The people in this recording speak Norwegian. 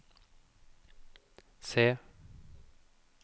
se